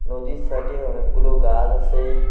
নদীর সাইটে অনেকগুলো গাছ আছে।